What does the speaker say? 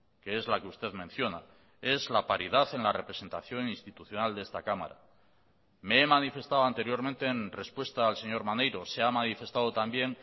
que es la que usted menciona es la paridad en la representación institucional de esta cámara me he manifestado anteriormente en respuesta al señor maneiro se ha manifestado también